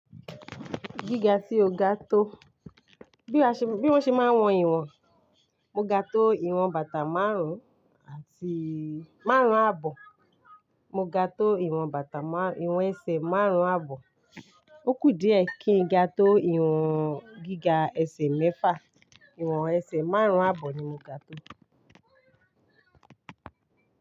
Gíga tí o ga tó, bí wọ́n ṣe máa ń wọn ìwọ̀n, mo ga tó ìwọ̀n bàtà márùn-ún àti márùn-ún àbọ̀, mo ga tó ìwọ̀n bàtà ìwọ̀n ẹsẹ̀ márùn-ún àbọ̀, ó kù díẹ̀ kí n ga tó ìwọ̀n gíga ẹsẹ̀ mẹ́fà, ìwọ̀n ẹsẹ̀ márùn-ún àbọ̀ ni mo ga tó.